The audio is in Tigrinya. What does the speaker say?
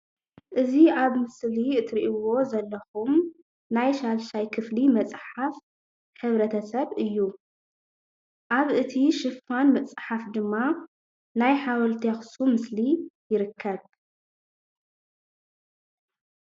እዚ አብ ምስሊ እትሪእዎ ዘለኩም ናይ ሻድሻይ ክፍሊ መፅሓፍ ሕብረተሰብ እዩ አብ እቲ ሽፋን መፅሓፍ ድማ ናይ ሓወልቲ አክሱም ምስሊ ይርከብ።